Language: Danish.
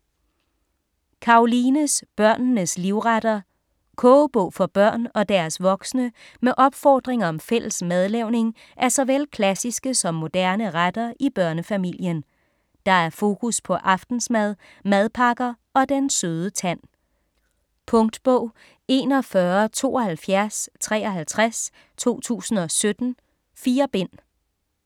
Karolines børnenes livretter Kogebog for børn og deres voksne med opfordring om fælles madlavning af såvel klassiske som moderne retter i børnefamilien. Der er fokus på aftensmad, madpakker og den søde tand. Punktbog 417253 2017. 4 bind.